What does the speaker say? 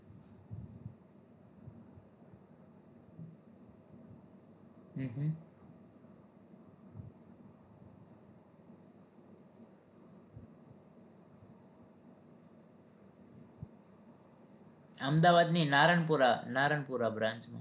અમદાવાદ ની નારણપુરા નારણપુરા branch માં